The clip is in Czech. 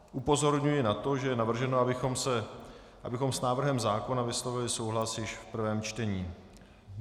Upozorňuji na to, že je navrženo, abychom s návrhem zákona vyslovili souhlas již v prvém čtení.